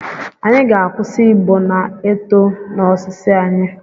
Anyị ga-akwụsị igbo na-eto na osisi anyị.